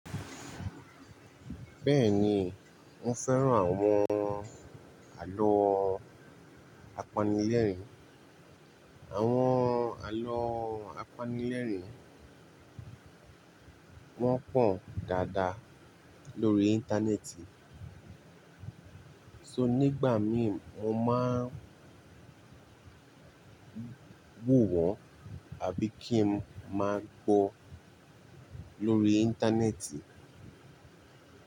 Bẹ́ẹ̀ni, mo fẹ́ràn àwọn àlọ́ apanilẹ́rìn. Àwọn àlọ́ apanilẹ́rìn, wọ́n pọ̀n dáadáa lórí íńtánẹ́ẹ̀tì. So nígbà mí mo máa ń wò wọ́n àbí kí n máa gbọ́ lórí íńtánẹ́ẹ̀tì.